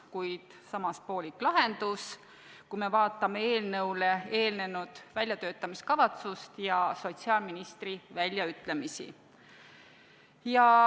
Kuid samas on see poolik lahendus, kui me vaatame eelnõule eelnenud väljatöötamiskavatsust ja sotsiaalministri väljaütlemisi.